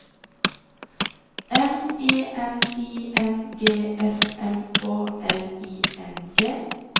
M E N I N G S M Å L I N G